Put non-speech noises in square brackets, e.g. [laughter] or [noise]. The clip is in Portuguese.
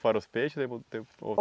Fora os peixes? [unintelligible]